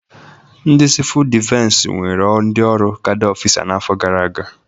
Ndị sivul dịfensi were ndị ọrụ kada ọfịsa n'afọ gara aga.